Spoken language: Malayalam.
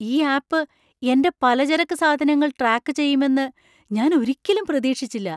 ഈ ആപ്പ് എന്‍റെ പലചരക്ക് സാധനങ്ങൾ ട്രാക്ക് ചെയ്യുമെന്ന് ഞാൻ ഒരിക്കലും പ്രതീക്ഷിച്ചില്ല.